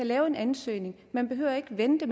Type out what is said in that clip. lave en ansøgning man behøver ikke at vente